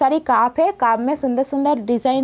सारे काप है। काप में सुंदर-सुंदर डिजाइन --